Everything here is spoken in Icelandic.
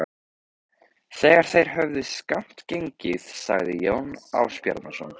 Þegar þeir höfðu skammt gengið sagði Jón Ásbjarnarson